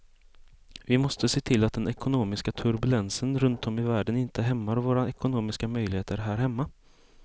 Vi måste se till att den ekonomiska turbulensen runt om i världen inte hämmar våra ekonomiska möjligheter här hemma.